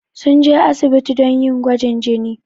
Sun je asibiti don yi gwajin jini.